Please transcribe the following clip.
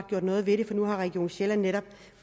gjort noget ved det for nu har region sjælland netop